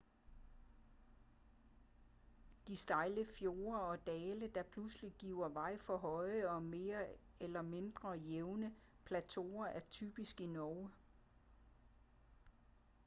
de stejle fjorde og dale der pludselig giver vej for høje og mere eller mindre jævne plateauer er typiske i norge